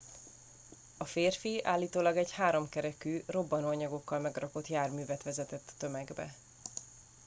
a férfi állítólag egy háromkerekű robbanóanyagokkal megrakott járművet vezetett a tömegbe